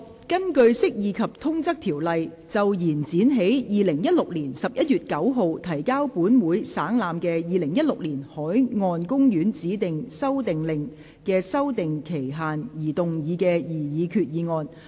根據《釋義及通則條例》就延展於2016年11月9日提交本會省覽的《2016年海岸公園令》的修訂期限而動議的擬議決議案。